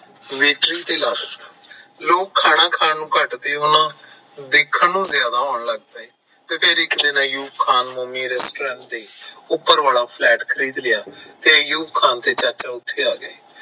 ਲੋਕ ਖਾਣਾ ਖਾਣ ਘੱਟ ਤੇ ਉਨਾਂ ਨੇ ਦੇਖਣ ਨੂੰ ਜਿਆਦਾ ਆਉਣ ਲੱਗ ਪਏ ਫਿਰ ਇੱਕ ਦਿਨ ਆਯੂਬ ਖਾਨ ਨੇ ਉਪਰ ਵਾਲਾ flat ਖਰੀਦ ਲਿਆ ਆਯੂਬ ਖਾਨ ਤੇ ਚਾਚਾ ਉੱਠ ਕੇ ਆ ਗਏ